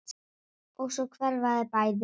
Og svo hverfa þau bæði.